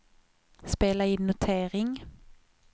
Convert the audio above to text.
spela in notering